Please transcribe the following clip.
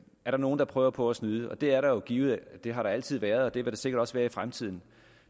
er nogle der prøver på at snyde og det er der jo givet det har der altid været og det vil der sikkert også være i fremtiden